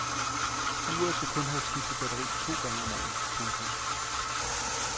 Uret skal kun have skiftet batterier to gange om året. punktum